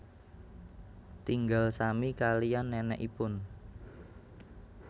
Tinggal sami kaliyan nenekipun